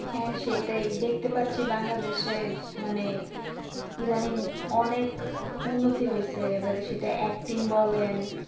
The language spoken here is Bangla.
হ্যাঁ সেটাই দেখতে পাচ্ছি বাংলাদেশে মানে ইদানিং অনেক উন্নতি হয়েছে এবার সেটা acting বলেন